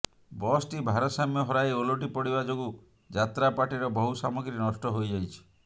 ବସଟି ଭାରସାମ୍ୟ ହରାଇ ଓଲଟି ପଡିବା ଯୋଗୁଁ ଯାତ୍ରାପାର୍ଟିର ବହୁ ସାମଗ୍ରୀ ନଷ୍ଟ ହୋଇଯାଇଛି